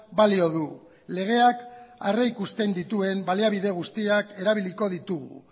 balio du legeak aurreikusten dituen baliabide guztiak erabiliko ditugu